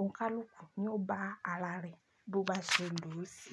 Òǹkálùkù ni ó bá ara rẹ bó bá ṣe lù ú sí.